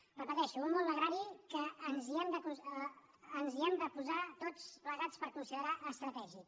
ho repeteixo un món l’agrari que ens hi hem de posar tots plegats per considerar·lo estratègic